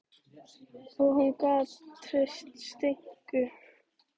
Og hún gat treyst Steinku.